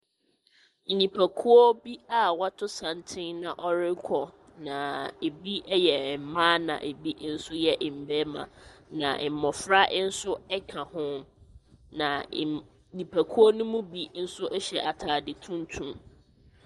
Nnipakuo bi a wɔato santene na wɔrekɔ, na ebi ɛyɛ mmaa na ebi nso yɛ mmeɛma. Na mmɔfra nso ɛka ho na nnipakuo no mu bi nso ɛhyɛ ataade tuntum.